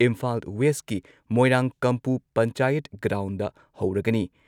ꯏꯝꯐꯥꯜ ꯋꯦꯁꯀꯤ ꯃꯣꯏꯔꯥꯡꯀꯝꯄꯨ ꯄꯟꯆꯥꯌꯠ ꯒ꯭ꯔꯥꯎꯟꯗ ꯍꯧꯔꯒꯅꯤ ꯫